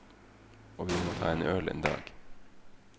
Og vi må ta en øl en dag.